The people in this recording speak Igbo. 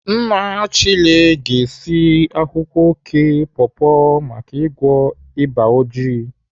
Nna Chile ga-esi akwụkwọ oké pọpọ maka ịgwọ ịba oji